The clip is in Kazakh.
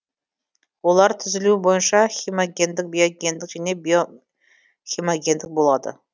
олар түзілуі бойынша хемогендік биогендік және био хемогендік болады